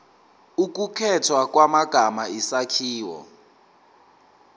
ukukhethwa kwamagama isakhiwo